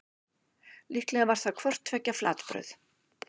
Líklega var það hvort tveggja flatbrauð.